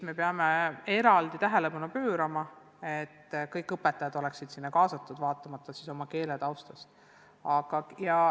Peame eraldi tähelepanu pöörama sellele, et kõik õpetajad oleksid sinna kaasatud, olenemata oma keeletaustast.